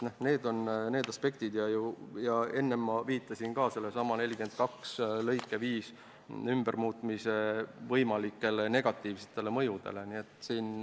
Need on olulised aspektid ja enne viitasin ma ka sellesama § 42 lõike 5 muutmise võimalikule negatiivsele mõjule.